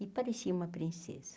E parecia uma princesa.